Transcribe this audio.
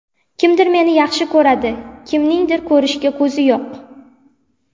Kimdir meni yaxshi ko‘radi, kimningdir ko‘rishga ko‘zi yo‘q.